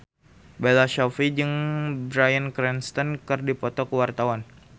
Bella Shofie jeung Bryan Cranston keur dipoto ku wartawan